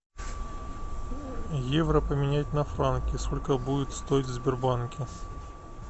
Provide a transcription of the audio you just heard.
евро поменять на франки сколько будет стоить в сбербанке